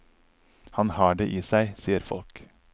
Han har det i seg, sier folk.